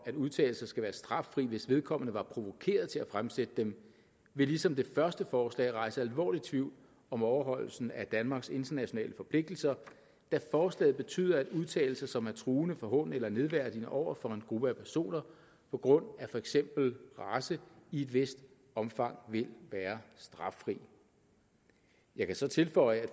at udtalelser skal være straffri hvis vedkommende var provokeret til at fremsætte dem vil ligesom det første forslag rejse alvorlig tvivl om overholdelsen af danmarks internationale forpligtelser da forslaget betyder at udtalelser som er truende forhånende eller nedværdigende over for en gruppe af personer på grund af for eksempel race i et vist omfang vil være straffri jeg kan så tilføje at